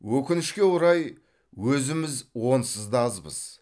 өкінішке орай өзіміз онсыз да азбыз